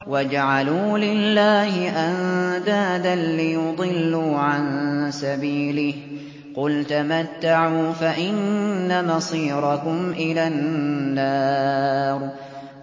وَجَعَلُوا لِلَّهِ أَندَادًا لِّيُضِلُّوا عَن سَبِيلِهِ ۗ قُلْ تَمَتَّعُوا فَإِنَّ مَصِيرَكُمْ إِلَى النَّارِ